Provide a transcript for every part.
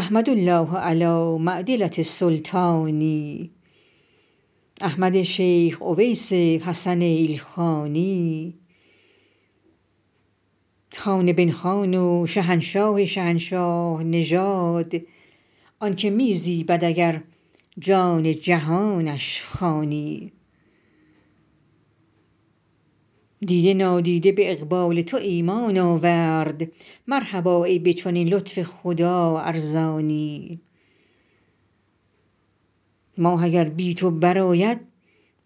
احمد الله علی معدلة السلطان احمد شیخ اویس حسن ایلخانی خان بن خان و شهنشاه شهنشاه نژاد آن که می زیبد اگر جان جهانش خوانی دیده نادیده به اقبال تو ایمان آورد مرحبا ای به چنین لطف خدا ارزانی ماه اگر بی تو برآید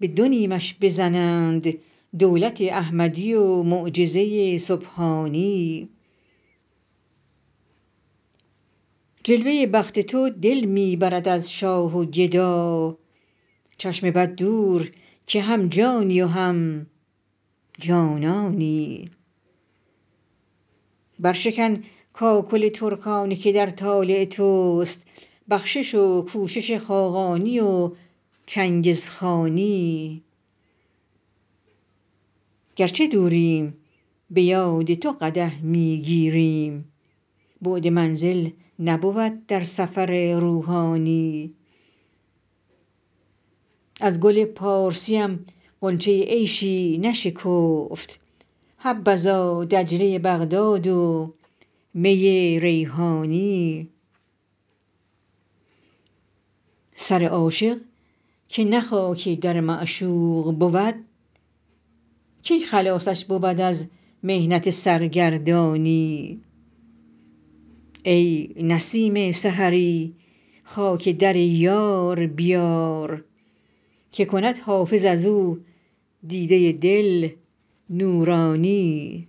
به دو نیمش بزنند دولت احمدی و معجزه سبحانی جلوه بخت تو دل می برد از شاه و گدا چشم بد دور که هم جانی و هم جانانی برشکن کاکل ترکانه که در طالع توست بخشش و کوشش خاقانی و چنگزخانی گر چه دوریم به یاد تو قدح می گیریم بعد منزل نبود در سفر روحانی از گل پارسیم غنچه عیشی نشکفت حبذا دجله بغداد و می ریحانی سر عاشق که نه خاک در معشوق بود کی خلاصش بود از محنت سرگردانی ای نسیم سحری خاک در یار بیار که کند حافظ از او دیده دل نورانی